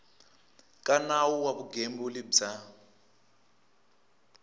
ka nawu wa vugembuli bya